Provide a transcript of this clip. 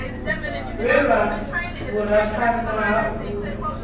lwelwa vhuraphanḓa ha u vhusa